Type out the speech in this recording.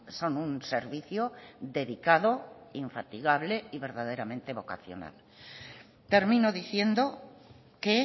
son un servicio dedicado infatigable y verdaderamente vocacional termino diciendo que